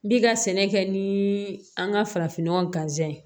N bi ka sɛnɛ kɛ ni an ka farafinnɔgɔ ganzɛn